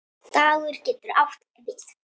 Dagur getur átt við